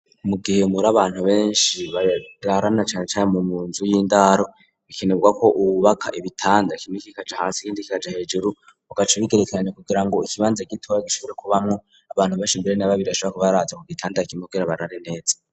Mu gihe muri abantu benshi bararana canecane mu munzu y'indaro, bikenerwa ko wubaka ibitanda kimwe kija hasi ikindi kikaja hejuru, ugaca ubigerekeranya kugira ngo ikibanza gitoya gishobore kubamwo abantu benshi mbere na babiri urashobora kubaraza ku gitanda kimwe kugira ngo barare neza.